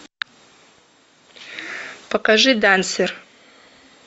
покажи дансер